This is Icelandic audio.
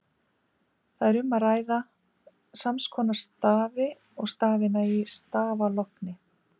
Þar er um að ræða sams konar stafi og stafina í stafalogni.